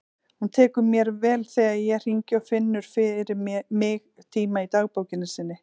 Hún tekur mér vel þegar ég hringi og finnur fyrir mig tíma í dagbókinni sinni.